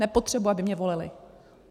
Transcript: Nepotřebuji, aby mě volili.